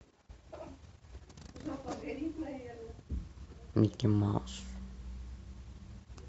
микки маус